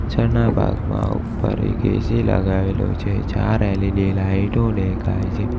પાછળના ભાગમાં ઉપર એક એ_સી લગાવેલો છે ચાર એલ_ઇ_ડી લાઇટો દેખાય છે.